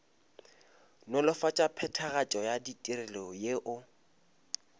nolofatša phethagatšo ya ditirelo yeo